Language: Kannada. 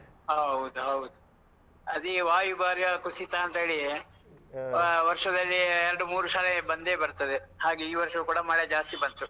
ಹೌದು, ಹೌದು. ಅದೇ ವಾಯುಭಾರ ಕುಸಿತ ಅಂತ ಹೇಳಿ. ವರ್ಷದಲ್ಲಿ ಎರಡು ಮೂರು ಸರಿ ಬಂದೇ ಬರ್ತದೆ. ಹಾಗೆ ಈ ವರ್ಷವೂ ಕೂಡ ಮಳೆ ಜಾಸ್ತಿ ಬಂತು.